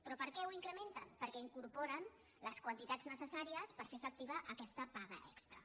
però per què ho incrementen perquè incorpo·ren les quantitats necessàries per fer efectiva aquesta paga extra